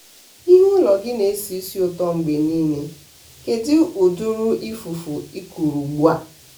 ihu ụlọ gị na-esi isi ụtọ mgbe niile kedụ ụdịrị ifuru ị kụrụ ugbua?